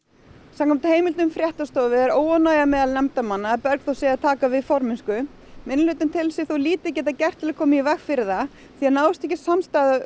samkvæmt heimildum fréttastofu er óánægja er meðal nefndarmanna að Bergþór sé að taka aftur við formennsku minnihlutinn telur sig hins vegar lítið gert til að koma í veg fyrir það því náist ekki samstaða